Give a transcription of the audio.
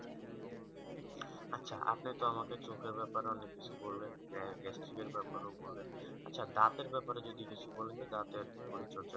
আপনি তো আমাকে চোখের ব্যাপারে অনেক কিছু বললেন যে testing ব্যাপারেও বললেন আচ্ছা দাঁতের ব্যাপারে যদি কিছু বলেন দাঁতের পরিচর্যায়